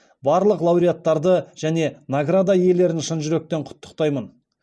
барлық лауреаттарды және награда иелерін шын жүректен құттықтаймын